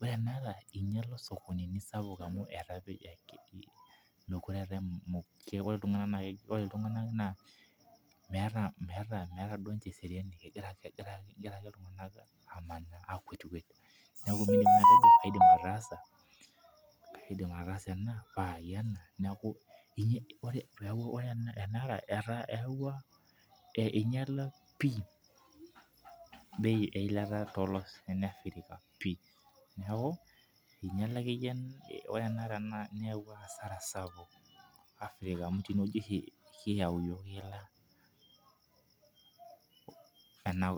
ore enaata. engiale osokonini sapuk, amu meekure ore iltunganak naa, meeta ninche eseriani kegira, akwet meta enaidim ataasa. neeku ore enara ingiala esiai. eyauwua asara sapuk amu ninye oshi kiyau ila ena kop ang'.